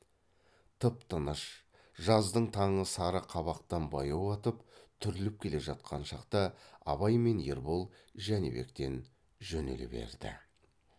тып тыныш жаздың таңы сары қабақтан баяу атып түріліп келе жатқан шақта абай мен ербол жәнібектен жөнеле берді